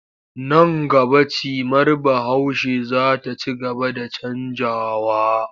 Nan gaba cimar Bahaushe za ta ci gaba da canjawa.